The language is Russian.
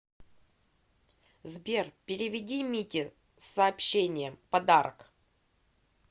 сбер переведи мите с сообщением подарок